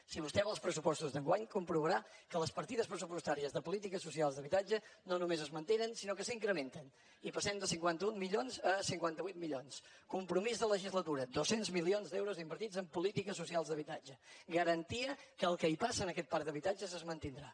si vostè va als pressupostos d’enguany comprovarà que les partides pressu postàries de polítiques socials d’habitatge no només es mantenen sinó que s’incrementen i passem de cinquanta un milions a cinquanta vuit milions compromís de legislatura dos cents milions d’euros invertits en polítiques socials d’habitatge garantia que el que hi passa en aquest parc d’habitatges es mantindrà